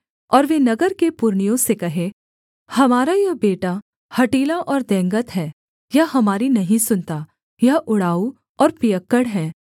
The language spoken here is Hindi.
और वे नगर के पुरनियों से कहें हमारा यह बेटा हठीला और दंगैत है यह हमारी नहीं सुनता यह उड़ाऊ और पियक्कड़ है